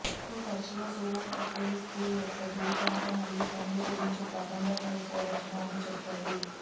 so తరచుగా సువార్త క్రీస్తు యొక్క జీవితం మరియు పనులు గురించి ప్రారంభ క్రైస్తవ రచన అని చెప్పాడు